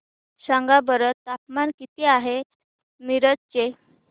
सांगा बरं तापमान किती आहे मिरज चे